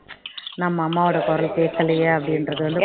நம்ம அம்மாவோட குரல் கேட்கலயே அப்படின்றது